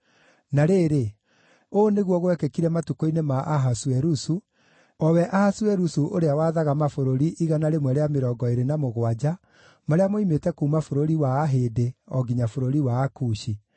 Na rĩrĩ, ũũ nĩguo gwekĩkire matukũ-inĩ ma Ahasuerusu, o we Ahasuerusu ũrĩa waathaga mabũrũri 127 marĩa moimĩte kuuma bũrũri wa Ahĩndĩ o nginya bũrũri wa Akushi.